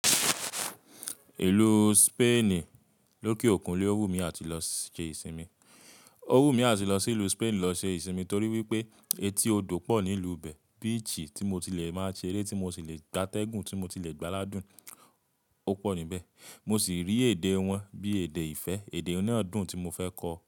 Ìlú Spain lókeòkun ni ó wù mí àti lọ ṣe ìsinmi. Ó wù mí àti lọ sí ìlú Spain lọ ṣe ìsinmi torí wípé etí odò pọ̀ nílú bẹ. Beach tí mo ti le máa ṣe eré, tí mo ti le gbá tẹ́gùn, tí mo ti le gbá ládùn, ó pọ̀ níbẹ̀. Mo sì rí èdè wọn bí èdè ìfẹ́, èdè oní ọ̀dún tí mo fẹ́ kọ.